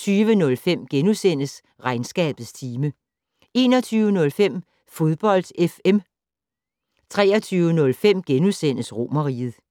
20:05: Regnskabets time * 21:05: Fodbold FM 23:05: Romerriget *